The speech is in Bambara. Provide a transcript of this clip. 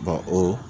o